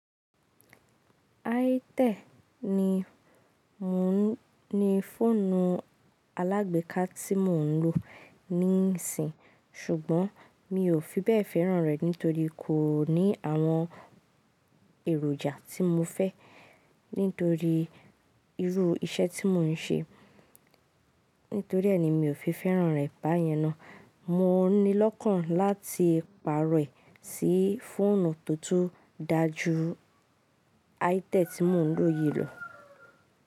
Aité ni fọ́ọ̀nù alágbèéká tí mò ń lò níìsín, ṣùgbọ́n mi ò fi bẹ́ẹ̀ fẹ́ràn rẹ̀ nítorí kò ní àwọn èròjà tí mo fẹ́ nítorí irú iṣẹ́ tí mò ń ṣe. Nítoríẹni mi ò fi fẹ́ràn rẹ̀ báyẹn ná. Mò ní lọ́kàn láti pàrọ̀ ẹ̀ sí fọ́ọ̀nù tó tó dáa ju Aité tí mò ń lò yìí lọ.